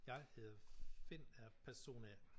Jeg hedder Finn og er person A